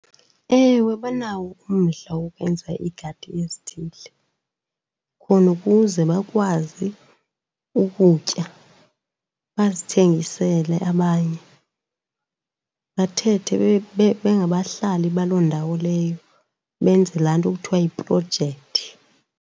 Ewe banawo umdla wokwenza iigadi ezithile khona ukuze bakwazi ukutya, bazithengisele abanye, bathethe bengabahlali baloo ndawo leyo, benze laa nto kuthiwa yiprojekthi.